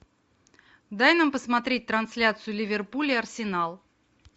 дай нам посмотреть трансляцию ливерпуль и арсенал